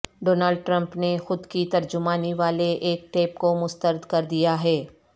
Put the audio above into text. Donald Trump نے خود کی ترجمانی والے ایک ٹیپ کو مسترد کردیا ہے